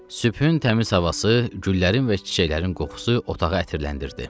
Sübhün təmiz havası, güllərin və çiçəklərin qoxusu otağı ətirləndirdi.